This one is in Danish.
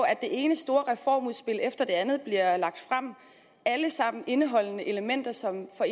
at det ene store reformudspil efter det andet bliver lagt frem alle sammen indeholdende elementer som for